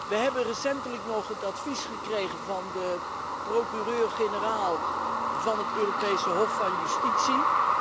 We hebben recentelijk nog het advies gekregen van de procureur generaal van het Europees Hof van Justitie.